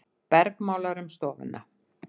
Bergmálar um stofuna.